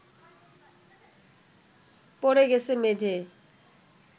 পড়ে গেছে মেঝেয়